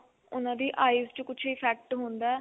ਉਹਨਾ ਦੀ eyes ਚ ਕੁੱਝ effect ਹੁੰਦਾ